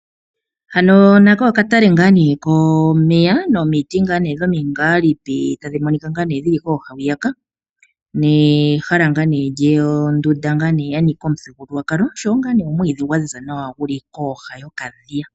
Hano nako okatale komeya sho yoo omwiidh wa ziza nawa